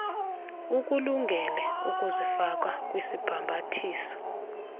ukulungele ukuzifaka kwisibhambathiso